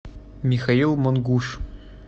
михаил мангуш